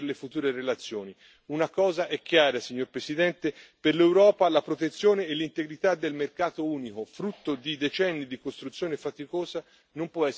Una cosa è chiara, signor Presidente per l'Europa la protezione e l'integrità del mercato unico, frutto di decenni di costruzione faticosa, non può essere messa in discussione.